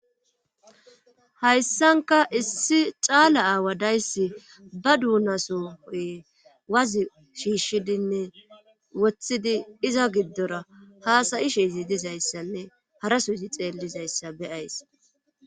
Hayssanka issi caala aawa dayssi ba duunasohoy wazi shiishshidinne woththidi iza giddora haasayi shizi dizayssanne harasuzi xeellzayssa beyays